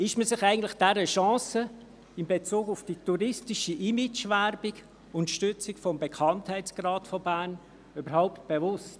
Ist man sich eigentlich der Chance in Bezug auf die touristische Imagewerbung und die Stützung des Bekanntheitsgrads von Bern überhaupt bewusst?